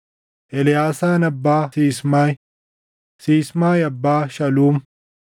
Eleʼaasaan abbaa Sismaayi; Sismaayi abbaa Shaluum;